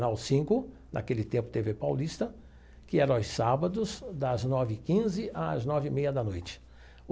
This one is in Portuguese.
cinco, naquele tempo, tê vê Paulista, que era aos sábados, das nove e quinze às nove e meia da noite.